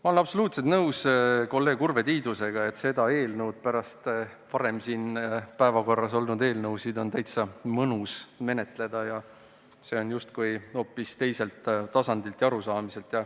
Ma olen absoluutselt nõus kolleeg Urve Tiidusega, et seda eelnõu on pärast päevakorras enne olnud eelnõusid väga mõnus menetleda – see on justkui hoopis teiselt tasandilt.